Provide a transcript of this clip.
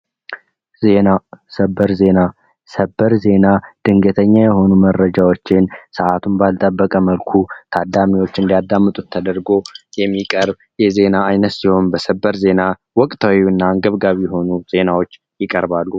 ዜና ሰበር ዜና ሰበር ዜና ድንገተኛ የሆኑ መረጃዎችን ሰአቱን ባልጠበቀ መልኩ ታዳሚዎች እንዲያዳምጡት ተደርጎ የሚቀርብ የዜና አይነት ሲሆን በሰበር ዜና ወቅታዊና አንገብጋቢ የሆኑ ዜናዎች ይቀርባሉ።